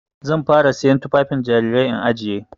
Zan fara siyan tufafin jarirai in ajiye.